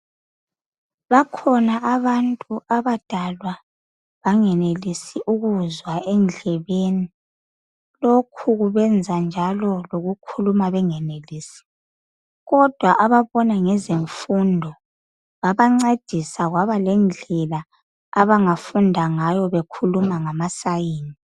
bakhona abantu abadalwa bangenelisi ukuzwa endlebeni lokhu kubenza njalo lokukhuluma bengenelisi kodwa ababona ngezemfundo babancedisa kwabalendlela abangafunda ngayo bekhuluma ngama sign